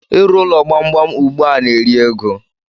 Ị rụ ụlọ gbamgbam ugba na-eri oké ego.